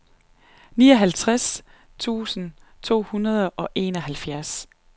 nioghalvtreds tusind to hundrede og enoghalvfjerds